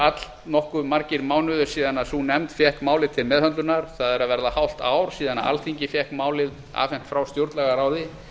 allnokkuð margir mánuðir síðan sú nefnd fékk málið til meðhöndlunar það er að verða hálft ár síðan alþingi fékk málið afhent frá stjórnlagaráði